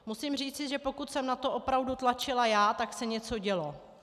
Musím říci, že pokud jsem na to opravdu tlačila já, tak se něco dělo.